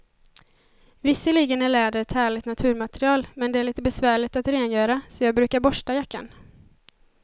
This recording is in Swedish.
Visserligen är läder ett härligt naturmaterial, men det är lite besvärligt att rengöra, så jag brukar borsta jackan.